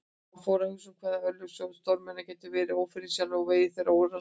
Hann fór að hugsa um hve örlög stórmenna gætu verið ófyrirsjáanleg og vegir þeirra órannsakanlegir.